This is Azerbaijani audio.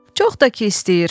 Çox da ki istəyir.